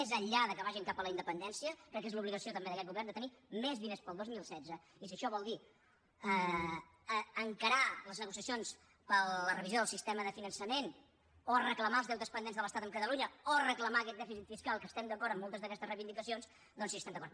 més enllà que vagin cap a la independència crec que és l’obligació també d’aquest govern de tenir més diners per al dos mil setze i si això vol dir encarar les negociacions per a la revisió del sistema de finançament o reclamar els deutes pendents de l’estat amb catalunya o reclamar aquest dèficit fiscal que estem d’acord amb moltes d’aquestes reivindicacions doncs hi estem d’acord